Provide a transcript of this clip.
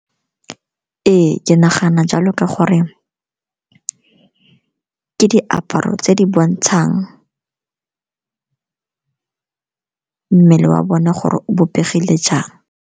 Ee, ke nagana jalo ka gore ke diaparo tse di bontshang mmele wa bone gore o bopegile jang.